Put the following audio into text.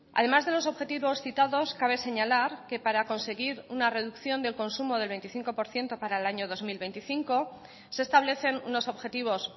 además de los objetivos citados cabe señalar que para conseguir una reducción del consumo del veinticinco por ciento para el año dos mil veinticinco se establecen unos objetivos